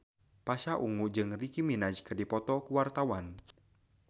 Pasha Ungu jeung Nicky Minaj keur dipoto ku wartawan